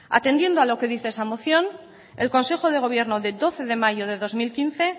atendiendo a lo que dice esa moción el consejo de gobierno de doce de mayo de dos mil quince